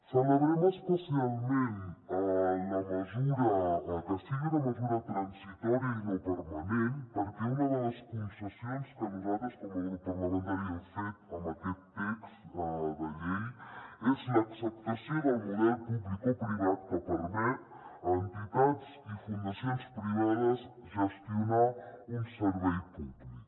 celebrem especialment que sigui una mesura transitòria i no permanent perquè una de les concessions que nosaltres com a grup parlamentari hem fet en aquest text de llei és l’acceptació del model publicoprivat que permet a entitats i fundacions privades gestionar un servei públic